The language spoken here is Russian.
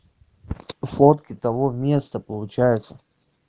фотки того места получается